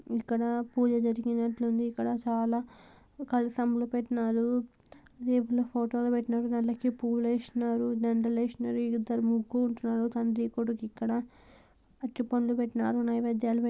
ఇక్కడ పూజ జరిగినట్టుంది ఇక్కడ చాల కలశములు పెట్టినారు దేవుళ్ళ ఫొటోలు పెట్టినారు దానిలోకి పూలు ఏసినారు దండాలు ఏసినారు ఇద్దరు ముగ్ తండ్రి కొడుకు ఇక్కడ అరటిపండ్లు పెట్టినారు నైవేద్యం --